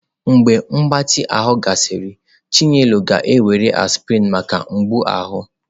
Mgbe mgbatị ahụ gasịrị, chinelo ga-ewere aspirin maka mgbu ahụ.